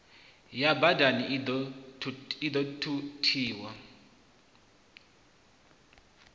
ya badani i ḓo thuthiwa